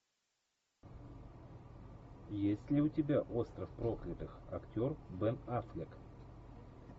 есть ли у тебя остров проклятых актер бен аффлек